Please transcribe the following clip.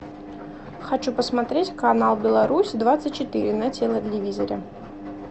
хочу посмотреть канал беларусь двадцать четыре на телевизоре